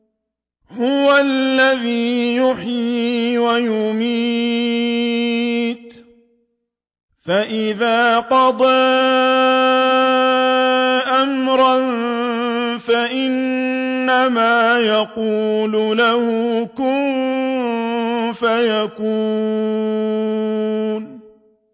هُوَ الَّذِي يُحْيِي وَيُمِيتُ ۖ فَإِذَا قَضَىٰ أَمْرًا فَإِنَّمَا يَقُولُ لَهُ كُن فَيَكُونُ